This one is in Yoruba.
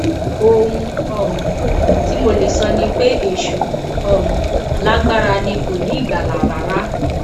ohun um tí mo lè sọ ni pé èṣù um lágbára ni kò ní ìgbàlà rárá